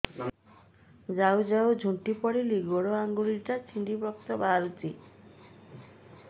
ଯାଉ ଯାଉ ଝୁଣ୍ଟି ପଡ଼ିଲି ଗୋଡ଼ ଆଂଗୁଳିଟା ଛିଣ୍ଡି ରକ୍ତ ବାହାରୁଚି